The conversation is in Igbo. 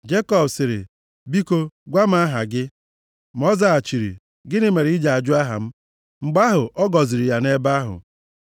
Jekọb sịrị, “Biko gwa m aha gị.” Ma ọ zaghachiri, “Gịnị mere ị ji ajụ aha m?” Mgbe ahụ, ọ gọziri ya nʼebe ahụ.